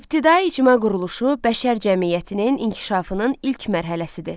İbtidai icma quruluşu bəşər cəmiyyətinin inkişafının ilk mərhələsidir.